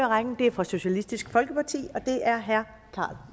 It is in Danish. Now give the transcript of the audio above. rækken er fra socialistisk folkeparti og det er herre carl